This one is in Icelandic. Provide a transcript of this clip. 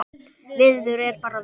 Veður er bara veður.